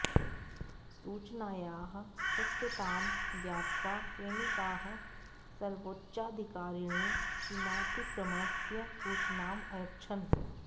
सूचनायाः सत्यतां ज्ञात्वा सैनिकाः स्वोच्चाधिकारिणे सीमातिक्रमणस्य सूचनाम् अयच्छन्